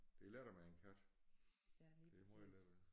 Det er lettere med en kat det er måj lettere